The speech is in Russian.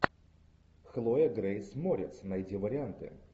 хлоя грейс морец найди варианты